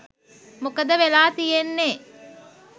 මොකද වෙලා තියෙන්නේ